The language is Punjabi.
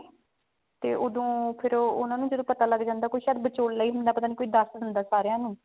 ਤੇ ਓਦੋਂ ਫ਼ੇਰ ਉਹ ਉਹਨਾ ਨੂੰ ਜਦੋਂ ਪਤਾ ਲੱਗ ਜਾਂਦਾ ਕੋਈ ਸ਼ਾਇਦ ਵਿਚੋਲਾ ਹੀ ਹੁੰਦਾ ਸ਼ਾਇਦ ਕੋਈ ਦੱਸ ਦਿੰਦਾ ਸਾਰਿਆਂ ਨੂੰ